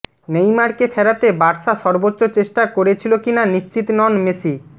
নেইমারকে ফেরাতে বার্সা সর্বোচ্চ চেষ্টা করেছিল কিনা নিশ্চিত নন মেসি